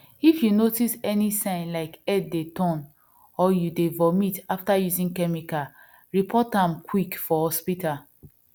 if you notice any sign like head dey turn or you dey vomit after using chemical report am quick for hospital